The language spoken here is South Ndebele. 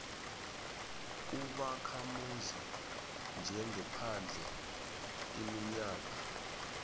ubakhamuzi njengephandle iminyaka